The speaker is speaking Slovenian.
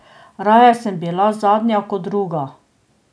Raje sem bila zadnja kot druga.